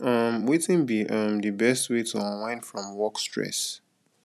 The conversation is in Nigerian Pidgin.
um wetin be um di best way to unwind from work stress